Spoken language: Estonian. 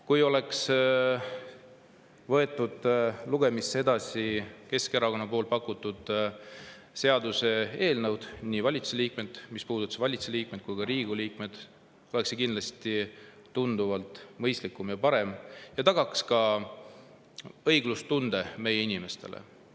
Kui oleks võetud lugemisele Keskerakonna poolt pakutud seaduseelnõud, mis puudutasid nii valitsuse liikmeid kui ka Riigikogu liikmeid, oleks see kindlasti olnud tunduvalt mõistlikum ja parem variant ja taganud ka õiglustunde meie inimestele.